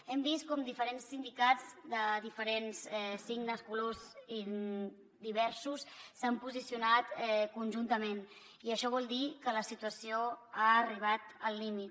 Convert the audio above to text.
hem vist com diferents sindicats de diferents signes i colors diversos s’han posicionat conjuntament i això vol dir que la situació ha arribat al límit